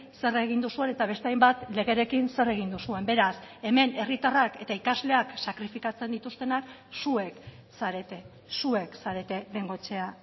zer egin duzuen eta beste hainbat legerekin zer egin duzuen beraz hemen herritarrak eta ikasleak sakrifikatzen dituztenak zuek zarete zuek zarete bengoechea